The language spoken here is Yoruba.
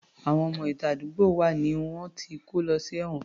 Àwọn ọmọ ìta àdúgbò wa ni wọ́n ti kó lọ sí ẹ̀wọ̀n